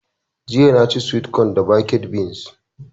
Jiya na ci (swit kon) da baked beans